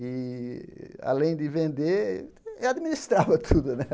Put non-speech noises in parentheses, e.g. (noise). E, além de vender, eu administrava tudo, (laughs) né?